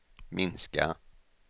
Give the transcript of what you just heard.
minska